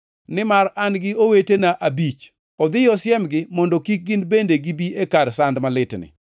nimar an-gi owetena abich. Odhiyo osiemgi, mondo kik gin bende gibi e kar sand malitni.’